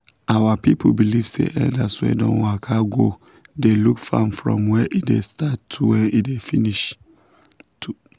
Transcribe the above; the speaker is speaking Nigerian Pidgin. our people believe say elders wey don waka go dey look farm from when e start to when e finish.